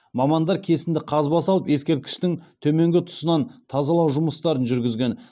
мамандар кесінді қазба салып ескерткіштің төменгі тұсынан тазалау жұмыстарын жүргізген